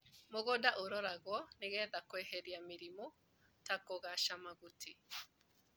Mũgũnda ũroragwo nĩgetha kweheria mĩrimo ta kũgaca mahuti.